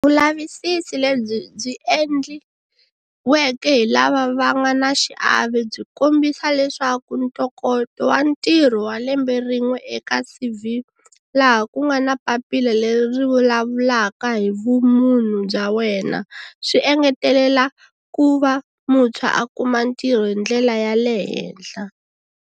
Vulavisisi lebyi byi endliweke hi lava va nga na xiave byi kombisa leswaku ntokoto wa ntirho wa lembe rin'we eka CV, laha ku nga na papila leri ri vulavulaka hi vumunhu bya wena, swi engetele la ku va muntshwa a kuma ntirho hi ndlela ya le henhla.